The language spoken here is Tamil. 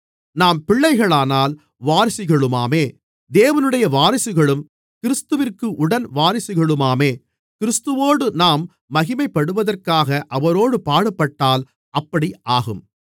நாம் பிள்ளைகளானால் வாரிசுகளுமாமே தேவனுடைய வாரிசுகளும் கிறிஸ்துவிற்கு உடன் வாரிசுகளுமாமே கிறிஸ்துவோடு நாம் மகிமைப்படுவதற்காக அவரோடு பாடுபட்டால் அப்படி ஆகும்